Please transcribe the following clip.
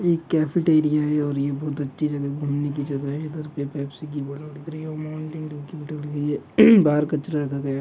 एक केफिटेरिआ है और ये बहोत अच्छी जगह घूमने की जगह है इधर पे पेप्सी की बोटल दिख रही है ओर माउंटेन डीयु की बोटल दिख रही है बाहर कचरा दबेगा।